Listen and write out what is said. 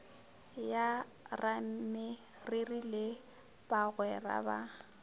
ya rameriri le bagwera ba